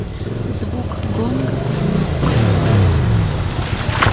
звук гонга пронёсся по залу